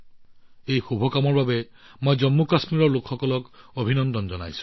এই শুভ কামৰ বাবে মই জম্মুকাশ্মীৰৰ লোকসকলক অভিনন্দন জনাইছো